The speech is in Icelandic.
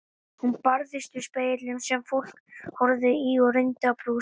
Hún barðist við spegilinn sem fólk horfði í og reyndi að brosa.